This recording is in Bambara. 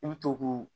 I bɛ to k'u